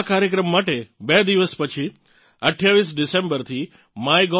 આ કાર્યકમ માટે બે દિવસ પછી 28 ડિસેમ્બરથી MyGov